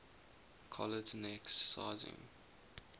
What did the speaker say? collet neck sizing